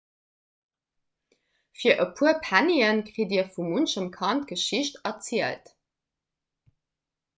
fir e puer pennien kritt dir vu munchem kand d'geschicht erzielt